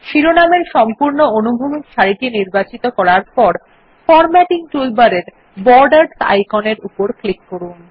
শিরোনাম ধারণকারী সম্পূর্ণ অনুভূমিক সারি নির্বাচন করার পর ফরম্যাটিং টুলবারের বর্ডারস আইকনের উপর ক্লিক করুন